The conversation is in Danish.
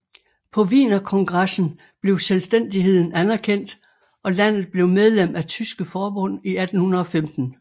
På Wienerkongressen blev selvstændigheden anerkendt og landet blev medlem af Tyske forbund i 1815